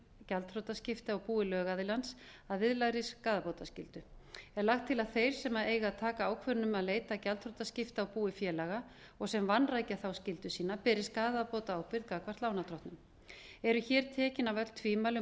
gjaldþrotaskipti á búi lögaðilans að viðlagðri skaðabótaskyldu er lagt til að þeir sem eiga að taka ákvörðun um að leita gjaldþrotaskipta á búi félaga og sem vanrækja þá skyldu sína beri skaðabótaábyrgð gagnvart lánardrottnum eru hér tekin af öll tvímæli um